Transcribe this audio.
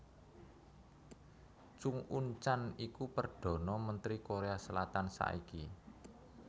Chung Un chan iku Perdana Mentri Korea Selatan saiki